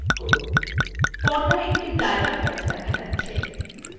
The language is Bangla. পর্দায় একটি dialog box দেখা যাচ্ছে